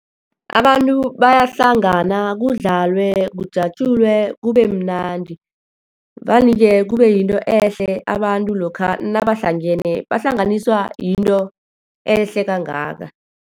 Abantu bayahlangana, kudladlwe, kujatjulwe, kube mnandi. Vane-ke kube yinto ehle abantu lokha nabahlangene, bahlanganisa yinto ehle kangaka.